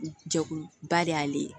Jɛkuluba de y'ale ye